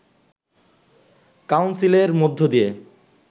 কাউন্সিলের মধ্য দিয়ে